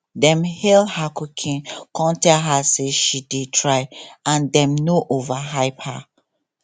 dem hail her cooking cum tell her say she dey try and dem no overhype her